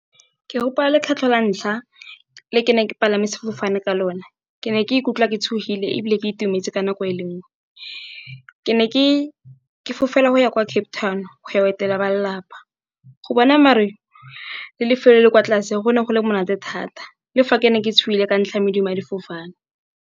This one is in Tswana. Ke gopola la ntlha le ke ne ke palame sefofane ka lona, ke ne ke ikutlwa ke tshogile ebile ke itumetse ka nako e le nngwe ke ne ke fela go ya kwa Cape Town go ya go etela ba lelapa. Go bona maru le lefelo le le kwa tlase go ne go le monate thata le fa ke ne ke tsogile ka ntlha ya medumo ya difofane.